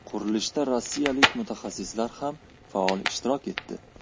Qurilishda Rossiyalik mutaxassislar ham faol ishtirok etdi.